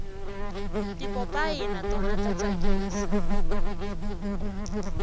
tipopayi na tona ta tsakisa